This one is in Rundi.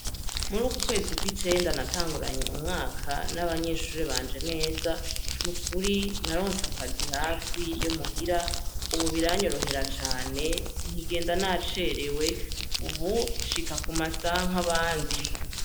Mur'uku kwezi kwicenda natanguranye umwaka n'abanyeshure banje neza, nukuri naronse akazi hafi yo muhira, ubu biranyorohera cane sinkigenda nacerewe ,ubu nshika kumasaha nk'abandi.